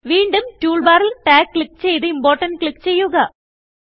വീണ്ടും ടൂൾ ബാറിൽ Tagക്ലിക്ക് ചെയ്ത് Importantക്ലിക്ക് ചെയ്യുക